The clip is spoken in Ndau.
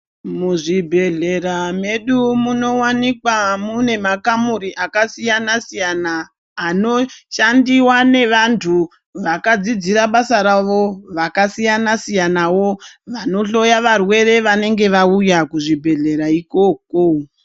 Muzvibhehlera medu munowanika mune makamuri akasiyanasiyana anoshandiwa nevanhu vakadzidzira basa ravo vakasiyansiyanawo vanohloya varwere vanenge vauya kuzvibhehleya ikoko.